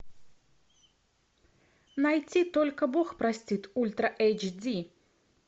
найти только бог простит ультра эйч ди